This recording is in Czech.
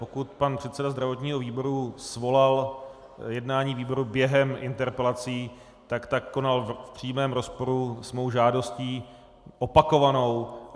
Pokud pan předseda zdravotního výboru svolal jednání výboru během interpelací, tak tak konal v přímém rozporu s mou žádostí, opakovanou.